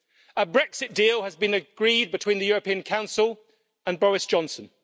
A Brexit deal has been agreed between the European Council and Boris Johnson.